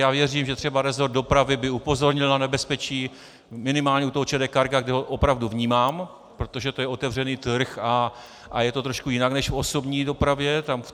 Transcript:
Já věřím, že třeba resort dopravy by upozornil na nebezpeční minimálně u toho ČD Cargo, kde ho opravdu vnímám, protože to je otevřený trh a je to trošku jinak než v osobní dopravě.